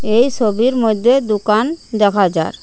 এই সবির মধ্যে দোকান দেখা যার।